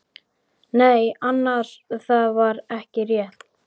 Nei annars, það var ekki rétt.